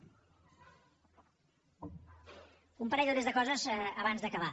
un parell o tres de coses abans d’acabar